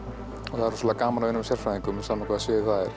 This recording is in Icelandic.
og það er rosalega gaman að vinna með sérfræðingum sama á hvaða sviði það